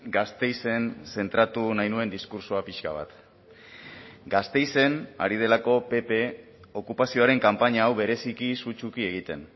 gasteizen zentratu nahi nuen diskurtsoa pixka bat gasteizen ari delako pp okupazioaren kanpaina hau bereziki sutsuki egiten